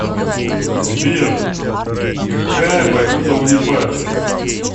сбер какая валюта у непальцев